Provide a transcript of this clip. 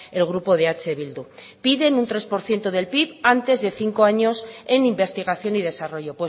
el grupo de eh bildu piden un tres por ciento del pib antes de cinco años en investigación y desarrollo